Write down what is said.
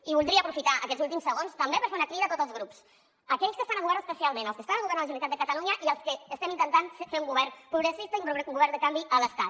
i voldria aprofitar aquests últims segons també per fer una crida a tots els grups aquells que estan al govern especialment els que estan al govern de la generalitat de catalunya i els que estem intentant fer un govern progressista i un govern de canvi a l’estat